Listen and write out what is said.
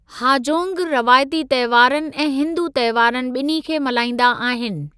हाजोंग रवायती तंहिवारनि ऐं हिन्दू तंहिवारनि ॿिन्ही खे मल्हाईंदा आहिनि।